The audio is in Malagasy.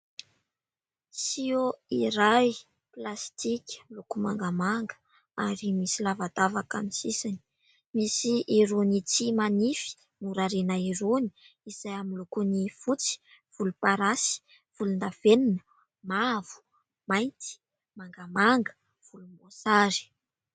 "Seau" iray plastika miloko mangamanga ary misy lavadavaka ny sisiny. Misy irony tsihy manify norariana irony izay amin'ny lokony fotsy, volomparasy, volondavenona, mavo, mainty, mangamanga, volomboasary.